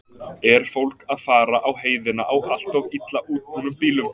Er fólk að fara á heiðina á allt of illa útbúnum bílum?